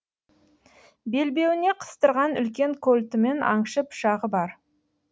белбеуіне қыстырған үлкен кольтімен аңшы пышағы бар